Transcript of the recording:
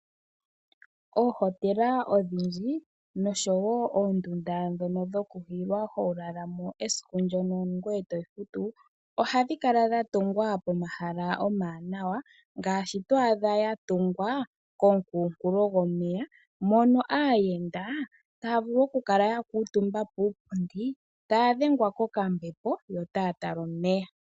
Oohotela odhindji noshowo oondunda dhono dhoku hilwa ho lala mo esiku mdono ngoye to futu, ohadhi kala dha tungwa pomahala omawanawa ngaashi to adha ya tungwa komukunkulo gomeya, mono aayenda taya vulu okukala ya kuutumba puupundi taya dhengwa kokambepo, yo taya tala omeya.